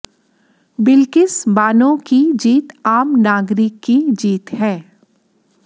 बिल्किस बानो की जीत आम नागरिक की जीत है